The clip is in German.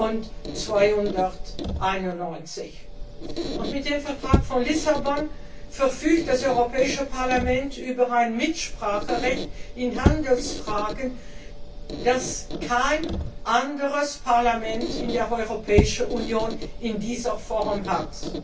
und 291. Mit dem Vertrag von Lissabon verfügt das Europäische Parlament über ein Mitspracherecht in Handelsfragen, das kein anderes Parlament in der Europäischen Union in dieser Form hat.